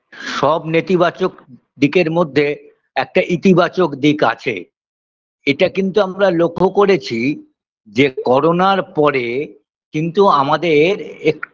সব নেতিবাচক দিকের মধ্যে একটা ইতিবাচক দিক আছে এটা কিন্তু আমরা লক্ষ্য করেছি যে করোনার পরে কিন্তু আমাদের এক